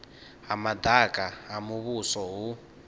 ha madaka ha muvhuso hu